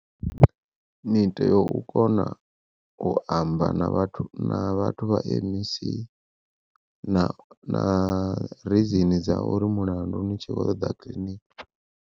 ni tea u kona u amba na vhathu na vhathu vha MEC na na rizini dza uri mulandu ni tshi kho ṱoḓa kiḽiniki.